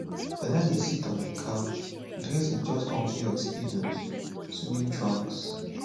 fela dey sit on a couch dress in just one pair of speedos [swimming trunks]